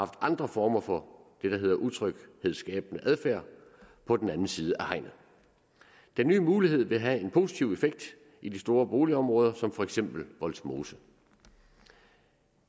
andre former for det der hedder utryghedsskabende adfærd på den anden side af hegnet den nye mulighed vil have en positiv effekt i de store boligområder som for eksempel vollsmose